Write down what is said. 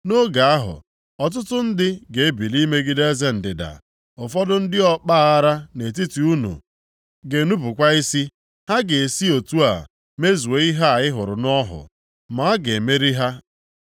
“Nʼoge ahụ, ọtụtụ ndị ga-ebili imegide eze ndịda, Ụfọdụ ndị ọkpa aghara nʼetiti unu ga-enupukwa isi, ha ga-esi otu a mezuo ihe a ị hụrụ nʼọhụ, ma a ga-emeri ha.